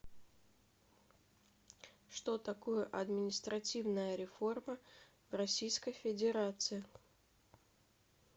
что такое административная реформа в российской федерации